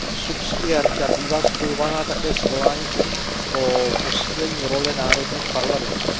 Subsidiarita bývá spojována také s voláním po posílení role národních parlamentů.